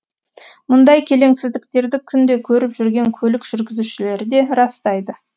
мұндай келеңсіздіктерді күнде көріп жүрген көлік жүргізушілері де растайды